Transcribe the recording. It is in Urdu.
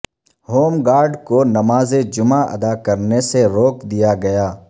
ہوم گارڈ کو نماز جمعہ ادا کرنے سے روک دیا گیا